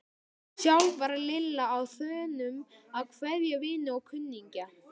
Sjálf var Lilla á þönum að kveðja vini og kunningja.